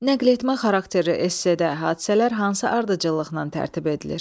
Nəql etmə xarakterli esdə hadisələr hansı ardıcıllıqla tərtib edilir?